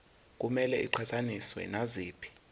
kumele iqhathaniswe naziphi